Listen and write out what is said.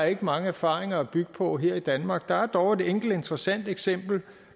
er mange erfaringer at bygge på her i danmark der er dog et enkelt interessant eksempel